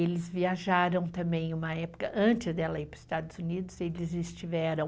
Eles viajaram também em uma época, antes dela ir para os Estados Unidos, eles estiveram...